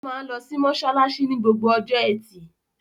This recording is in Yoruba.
Ó máa ń lọ mọ́ṣáláṣí ní gbogbo ọjọ́ ẹtì.